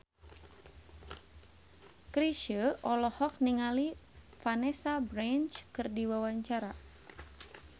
Chrisye olohok ningali Vanessa Branch keur diwawancara